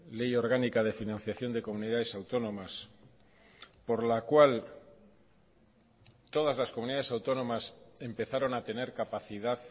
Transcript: ley orgánica de financiación de comunidades autónomas por la cual todas las comunidades autónomas empezaron a tener capacidad